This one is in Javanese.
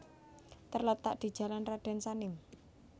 terletak di Jalan Raden Sanim